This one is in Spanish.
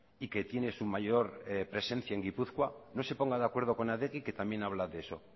y que tiene su mayor presencia en gipuzkoa no se ponga de acuerdo con adegi que también habla de eso